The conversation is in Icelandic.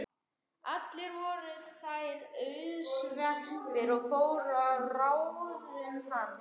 Allar voru þær auðsveipar og fóru að ráðum hans.